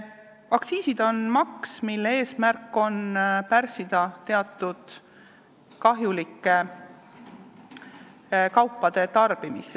Aktsiisid on maks, mille eesmärk on pärssida teatud kahjulike kaupade tarbimist.